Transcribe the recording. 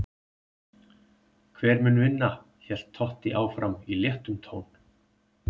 Hver mun vinna? hélt Totti áfram í léttum tón.